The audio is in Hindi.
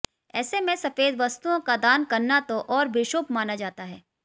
ऐसे में सफेद वस्तुओं का दान करना तो और भी शुभ माना जाता है